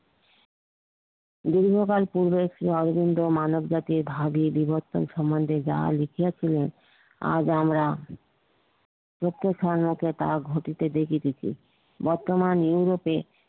বিভিন্ন কাল পূর্বক শ্রি অরবিন্দ মানব জাতির বিবর্তন সম্নধে যা লিখিয়াছিলেন আজ আমরা প্রত্যেক ধর্মকে তাহা ঘটিতে দেখিতেছি বর্তমান ইউরোপে